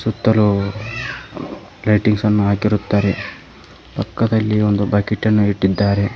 ಸುತ್ತಲು ಲೈಟಿಂಗ್ಸ್ ನ್ನು ಹಾಕಿರುತ್ತಾರೆ ಪಕ್ಕದಲ್ಲಿ ಒಂದು ಬಕೆಟನ್ನು ಇಟ್ಟಿದ್ದಾರೆ.